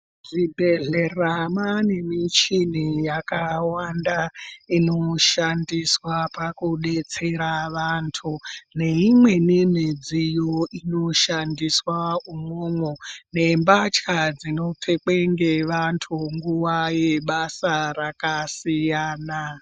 Zvibhedhlera mane muchini yakawanda inoshandiswa pakudetsera vandu neimweni midziyo inoshandiswa umwomwo nembatya dzinopfekwe ngevandu nguva yebasa rakasiyana.